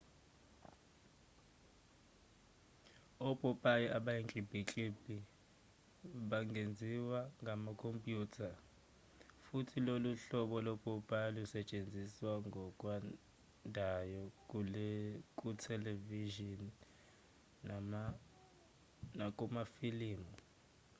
opopayi abayinkimbinkimbi bangenziwa ngamakhompyutha futhi lolu hlobo lopopayi lusetshenziswa ngokwandayo kuthelevishini nakumafilimu